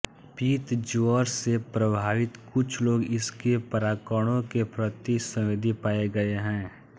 पित्त ज्वर से प्रभावित कुछ लोग इसके परागकणों के प्रति संवेदी पाए गए है